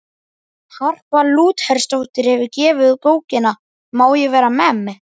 Harpa Lúthersdóttir hefur gefið út bókina Má ég vera memm?